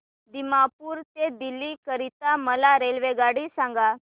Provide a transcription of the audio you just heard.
दिमापूर ते दिल्ली करीता मला रेल्वेगाडी सांगा